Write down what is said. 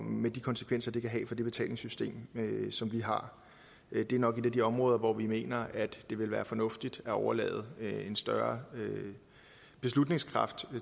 med de konsekvenser det kan have for det betalingssystem som vi har det er nok et af de områder hvor vi mener at det vil være fornuftigt at overlade en større beslutningskraft